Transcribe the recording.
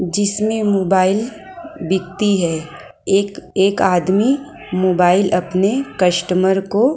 जिसमें मोबाइल बिकती है एक एक आदमी मोबाइल अपने कस्टमर को--